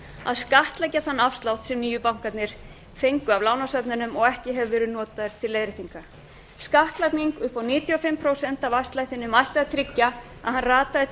að skattleggja þann afslátt sem nýju bankarnir fengu af lánastofnunum og ekki hefur verið notaður til leiðréttingar skattlagning upp á níutíu og fimm prósent af afslættinum ætti að tryggja að hann rataði til